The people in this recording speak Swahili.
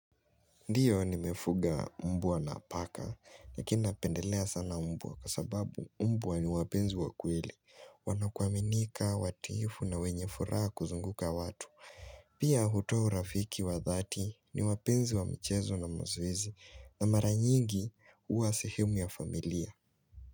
Ndiyo nimefuga mbwa na paka, lakini napendelea sana mbwa. Kwa sababu mbwa ni wapenzi wa kweli, wanakuaminika, watiifu na wenye furaha kuzunguka watu. Pia hutoa urafiki wa dhati, ni wapenzi wa mchezo na mazoezi na mara nyingi huwa sehemu ya familia.